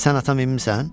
Sən at çapımısan?